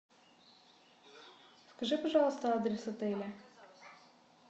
скажи пожалуйста адрес отеля